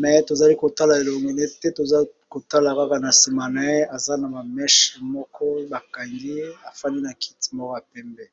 me tozali kotala elonginete toza kotala kaka na nsima na ye eza na mameshe moko bakangi afandi na kiti moko ya pembe.